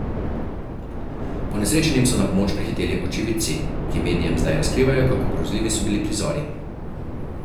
Ponesrečenim so na pomoč prihiteli očividci, ki medijem zdaj razkrivajo, kako grozljivi so bili prizori.